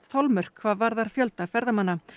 þolmörk hvað varðar fjölda ferðamanna